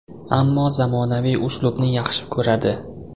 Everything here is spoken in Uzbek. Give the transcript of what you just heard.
Ammo zamonaviy uslubni yaxshi ko‘radi.